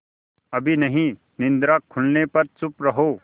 अभी नहीं निद्रा खुलने पर चुप रहो